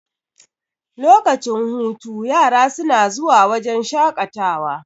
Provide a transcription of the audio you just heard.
lokacin hutu yara suna zuwa wajen shaƙatawa